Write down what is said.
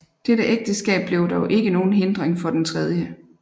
Dette ægteskab blev dog ikke nogen hindring for den 3